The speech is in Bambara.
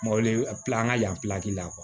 Mɔ le kila an ka yan la